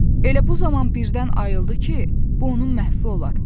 Elə bu zaman birdən ayıldı ki, bu onun məhvi olar.